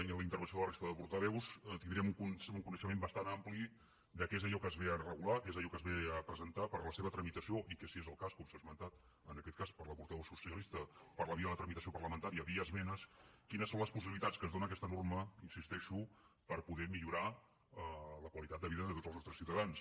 i en la intervenció de la resta de portaveus tindríem un coneixement bastant ampli de què és allò que es ve a regular què és allò que es ve a presentar per a la seva tramitació i que si és el cas com s’ha esmentat en aquest cas per la portaveu socialista per la via de la tramitació parlamentària via esmenes quines són les possibilitats que ens dóna aquests norma hi insisteixo per poder millorar la qualitat de vida de tots els nostres ciutadans